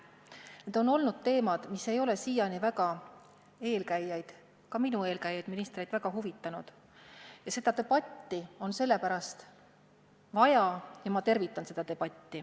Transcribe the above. Need on olnud teemad, mis ei ole seni eelkäijaid – ka minu eelkäijaid – ministreid väga huvitanud, ning sellepärast on seda debatti vaja ja ma tervitan seda.